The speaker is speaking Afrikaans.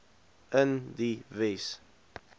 in die wes